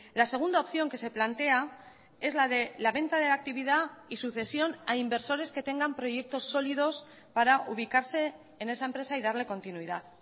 la segunda opción que se plantea es la de la venta de la actividad y sucesión a inversores que tengan proyectos sólidos para ubicarse en esa empresa y darle continuidad